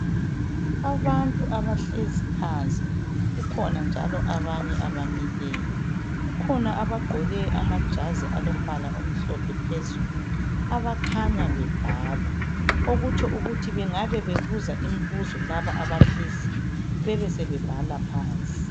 abantu abahlezi phansi kukhona njalo abamileyo kukhona abagqoke amajazi alombala omhlophe phezulu abakhanya bebhala okutsho ukuthi bengabe bebuza imbuzo laba abahleziyo bebesebebhala phansi